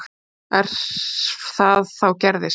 Ef það þá gerðist.